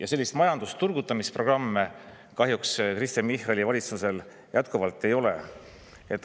Aga selliseid majanduse turgutamise programme Kristen Michali valitsusel kahjuks jätkuvalt ei ole.